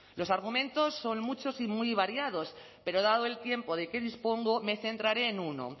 los argumentos son muchos y muy variados pero dado el tiempo de que dispongo me centraré en uno